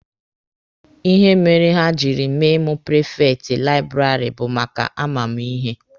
Ihe mere ha jiri mee mụ prifekti laịbụrarị bụ maka a ma mụ ihe.